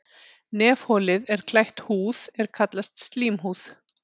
Nefholið er klætt húð er kallast slímhúð.